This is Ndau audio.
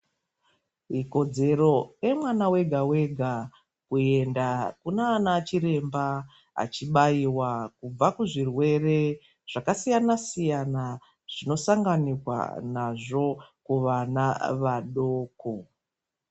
Ikodzero yemwana wega wega kuenda kunaana dhokodheya achibayiwa kubva kuzvirwere zvakasiyana siyana zvinosanganikwa nazvo kuvana vadoko.